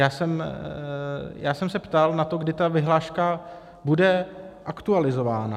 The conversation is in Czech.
Já jsem se ptal na to, kdy ta vyhláška bude aktualizována.